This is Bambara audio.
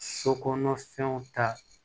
So kɔnɔ fɛnw ta